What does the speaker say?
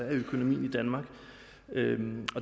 af økonomien i danmark